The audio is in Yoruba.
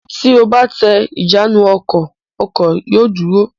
Tí o bá tẹ ìjánu-ọkọ̀, ọkọ̀ yóò dúró.